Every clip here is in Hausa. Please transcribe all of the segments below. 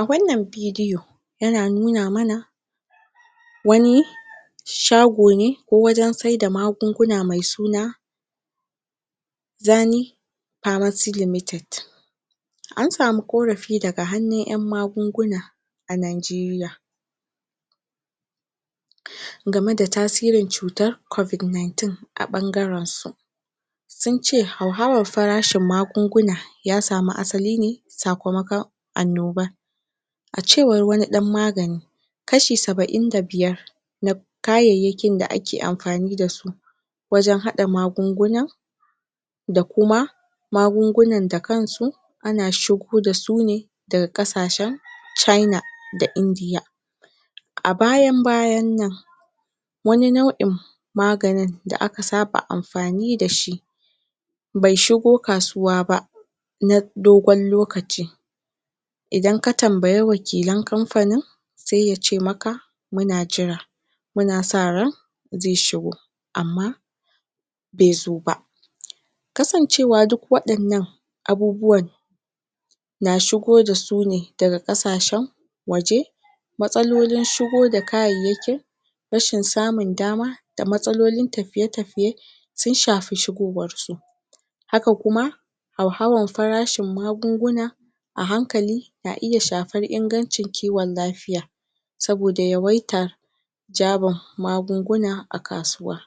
a wannan bidiyo yana nuna mana wani shago ne ko wajen sai da magunguna mai suna Jani pharmacy limited an samu korafi daga hanun yan magunguna a nigeria game da tasirin tsutan covid 19 a bangaren su sun ce hauhawan farashin magunguna ya samu asaline sakamakon annoba a cewan wani dan magani kashi sabain da biyar na kayaiyakin da dake anfani dasu wajen hada gagunguna da kuma magungunan da kansu ana shigo da su ne daga kasashen china da india a bayan bayan nan wani nauin maganin da aka saba anfani da shi bai shigo kasuwa ba na dogon lokaci idan ka tambayi wakilen kanfanin sai yace maka muna jira muna sa ran zai shigo amma bai zo ba kasancewar duk wayan nan abubuwan na shigo da su ne daga asashen waje matsalolin shigo da kayaiyakin rashi nsamun dama da matsalolin tafiye tafiye sun shafi shigowan su haka kuma hauhawan farashin magunguna a hankali na iya shafan ingancin kiwon lafia sabo da yawaitar jabar magunguna a kasuwa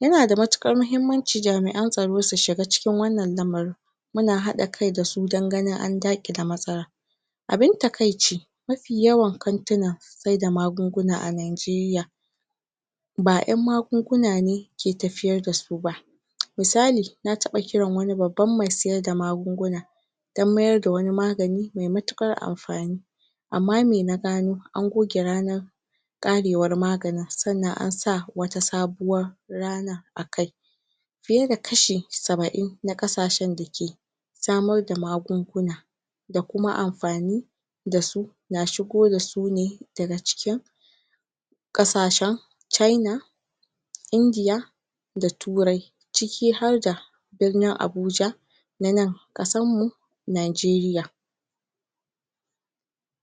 yana da matukar mahimmanci jamian tsaro su shiga cikin wannan yan yanayin muna hada kai da su dan ganin an dakile matsalan abin takaici mafi yawan kantinan sai da magunguna a Nigeria ba yan magunguna ne ke tafiyar da su ba misali na taba kiran wani babba mai sai da magunguna dan maida wani magani mai mutukan anfani amma mai na gano, an goge ranar karewar maganin san nan ansa wata sabuwar rana akai fiye da kashi sabain na kasashen da ke samar da magunguna da kuma anfani dasu nashigo da sune da ga cikin kasashen china india da turar ciki harda birnin abuja na nan kasan mu Nigeria